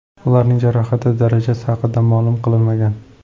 Ularning jarohati darajasi haqida ma’lum qilinmagan.